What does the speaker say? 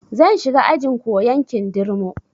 Zan shiga ajin koyan kindirmo